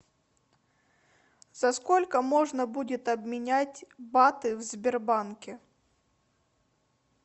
за сколько можно будет обменять баты в сбербанке